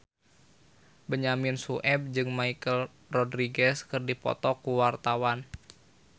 Benyamin Sueb jeung Michelle Rodriguez keur dipoto ku wartawan